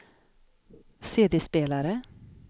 CD-spelare